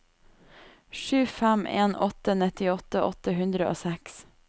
sju fem en åtte nittiåtte åtte hundre og seks